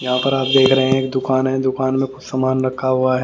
यहाँ पर आप देख रहे हैं एक दुकान है दुकान में कुछ सामान रखा हुआ है।